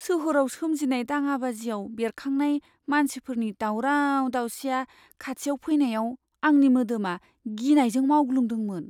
सोहोराव सोमजिनाय दाङाबाजिआव बेरखांनाय मानसिफोरनि दावराव दावसिआ खाथियाव फैनायाव आंनि मोदामा गिनायजों मावग्लुंदोंमोन।